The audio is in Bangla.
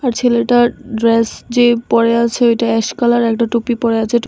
ছেলেটার ড্রেস যে পড়ে আছে ওইটা অ্যাস কালার একটা টুপি পড়ে আছে--